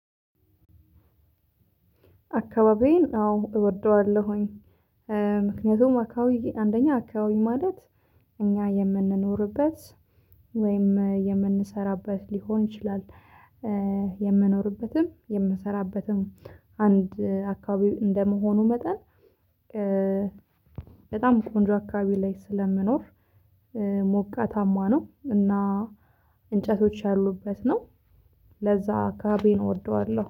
አካባቢዬን አዎ እወደዋለሁኝ። ምክንያቱም አካባቢ አንደኛ አካባቢ ማለት እኛ የምንኖርበት ወይም የምንሰራበት ሊሆን ይችላል። የምኖርበትም የምሰራበትም አንድ አካባቢ እንደመሆኑ መጠን በጣም ቆንጆ አካባቢ ላይ ስለምኖር። ሞቃታማ ነው እና እንጨቶች ያሉበት ነው። ለዛ አካባቢዬን እወደዋለሁ